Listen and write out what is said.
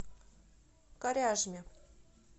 коряжме